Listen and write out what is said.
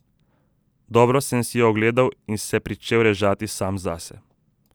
Dobro sem si jo ogledal in se pričel režati sam zase.